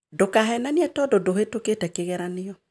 Ndũkahenanie tondũ ndũhĩtũkĩte kĩgerio